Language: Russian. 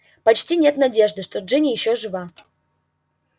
почти нет надежды что джинни ещё жива